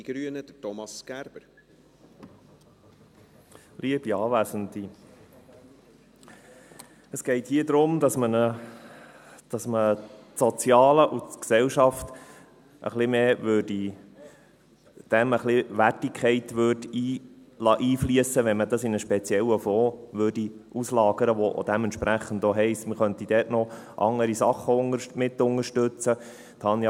Es geht hier darum, dass man ins Soziale und die Gesellschaft etwas mehr Wertigkeit einfliessen liesse, indem man es in einen speziellen Fonds auslagert, was dementsprechend auch heisst, dass man dort noch andere Sachen mitunterstützen kann.